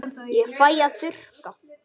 Ég fæ að þurrka.